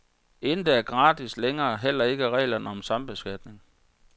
Intet er gratis længere og heller ikke reglerne om sambeskatning.